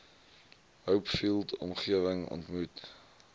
hopefield omgewing ontmoet